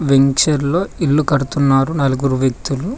వెంచర్లో ఇల్లు కడుతున్నారు నలుగురు వ్యక్తులు.